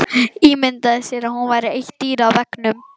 Ímyndaði sér að hún væri eitt dýrið á veggnum.